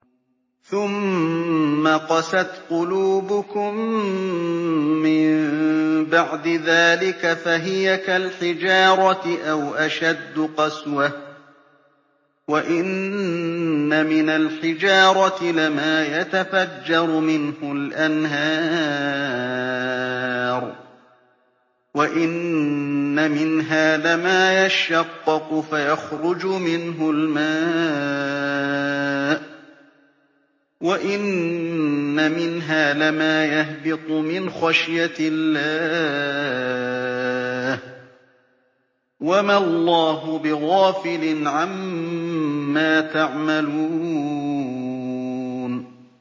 ثُمَّ قَسَتْ قُلُوبُكُم مِّن بَعْدِ ذَٰلِكَ فَهِيَ كَالْحِجَارَةِ أَوْ أَشَدُّ قَسْوَةً ۚ وَإِنَّ مِنَ الْحِجَارَةِ لَمَا يَتَفَجَّرُ مِنْهُ الْأَنْهَارُ ۚ وَإِنَّ مِنْهَا لَمَا يَشَّقَّقُ فَيَخْرُجُ مِنْهُ الْمَاءُ ۚ وَإِنَّ مِنْهَا لَمَا يَهْبِطُ مِنْ خَشْيَةِ اللَّهِ ۗ وَمَا اللَّهُ بِغَافِلٍ عَمَّا تَعْمَلُونَ